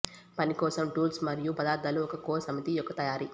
పని కోసం టూల్స్ మరియు పదార్థాల ఒక కోర్ సమితి యొక్క తయారీ